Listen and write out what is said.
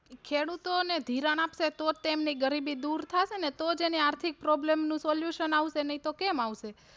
ખેડૂતો ને ધિરાણ આપશે તો જ તેમની ગરીબી દૂર થાશે ને તો જ એને આર્થિક Problem નું solution આવશે નહિ તો કેમ આવશે.